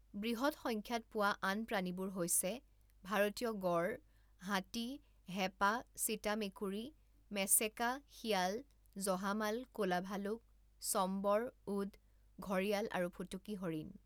বৃহৎ সংখ্যাত পোৱা আন প্ৰাণীবোৰ হৈছে ভাৰতীয় গঁড়, হাতী, হেপা, চিতা মেকুৰী, মেচেকা, শিয়াল, জহামাল, ক'লা ভালুক, চম্বৰ, উদ, ঘঁৰিয়াল আৰু ফুটুকী হৰিণ।